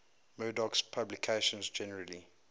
murdoch's publications generally